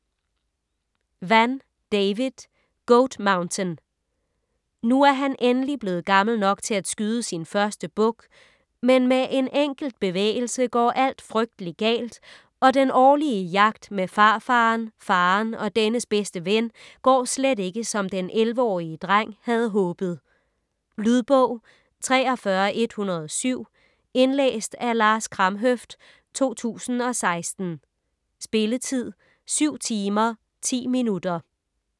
Vann, David: Goat Mountain Nu er han endelig blevet gammel nok til at skyde sin første buk, men med en enkelt bevægelse går alt frygtelig galt, og den årlige jagt med farfaren, faren og dennes bedste ven går slet ikke, som den 11-årige dreng havde håbet. Lydbog 43107 Indlæst af Lars Kramhøft, 2016. Spilletid: 7 timer, 10 minutter.